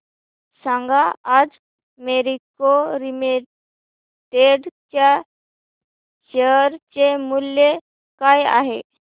सांगा आज मॅरिको लिमिटेड च्या शेअर चे मूल्य काय आहे